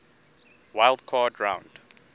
wild card round